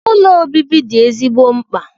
Ụlọ obibi dị ezigbo mkpa.